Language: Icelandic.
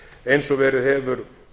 eins og verið hefur